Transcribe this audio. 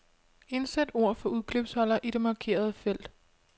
Indsæt ord fra udklipsholder i det markerede felt.